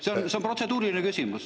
See on protseduuriline küsimus.